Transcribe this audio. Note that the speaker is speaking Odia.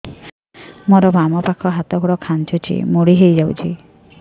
ମୋର ବାମ ପାଖ ହାତ ଗୋଡ ଖାଁଚୁଛି ମୁଡି ହେଇ ଯାଉଛି